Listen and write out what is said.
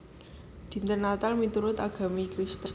Dinten Natal miturut agami Kristen